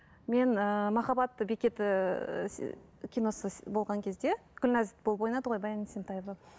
мен ыыы махаббат бекеті киносы болған кезде гүлназ болып ойнады ғой баян есентаева